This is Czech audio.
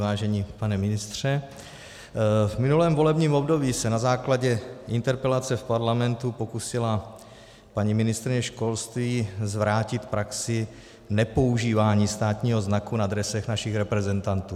Vážený pane ministře, v minulém volebním období se na základě interpelace v parlamentu pokusila paní ministryně školství zvrátit praxi nepoužívání státního znaku na dresech našich reprezentantů.